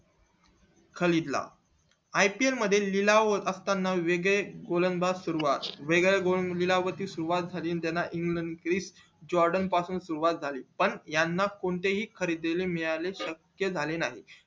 खालिद ला ipl मध्ये निलावं असताना वेगळे गोलंदबादज सुरवात वेगळे सुरुवात झाली त्याला इंग्लंड ग्रीप जॉर्डन पासून सुरुवात झाली पण याना कोणते हि खरेदी दारी मिळाले नाही झाले नाही